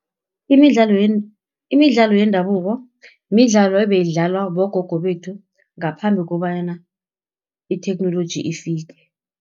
Imidlalo yendabuko, midlalo ebayidlalwa bogogo bethu, ngaphambi kobana itheknoloji ifike.